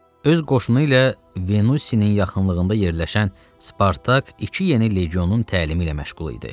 Öz qoşunu ilə Venusinin yaxınlığında yerləşən Spartak iki yeni legionun təlimi ilə məşğul idi.